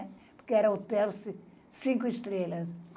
Porque era hotel ci cinco estrelas.